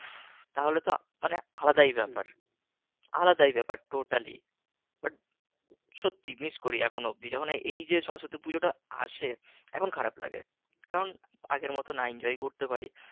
তাহলে তো মানে আলাদাই ব্যাপার আলাদাই ব্যাপার তোতলায় বাট সত্যি miss করি এখনও অব্দি যখন এইযে সরস্বতী পুজোটা আসে এখন খারাপ লাগে কারন আগের মতো না enjoy করতে পারি